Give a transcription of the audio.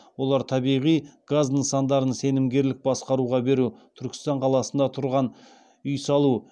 олар табиғи газ нысандарын сенімгерлік басқаруға беру түркістан қаласында тұрғын үй салу